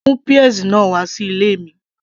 mú peas náà wà sí ilé mi